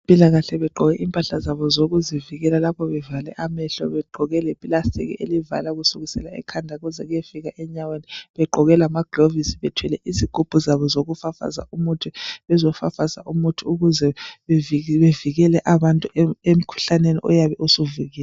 Abezempilakahle begqoke impahla zabo zokuzivikela lapho bevale amehlo begqoke leplastiki elivala kusukisela ekhanda kuze kuyefika enyaweni begqoke lamagilovisi bethwele izigubhu zabo zokufafaza umuthi bezofafaza umuthi ukuze bevikele abantu emkhuhlaneni oyabe usuvukile